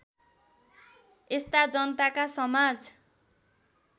यस्ता जनताका समाज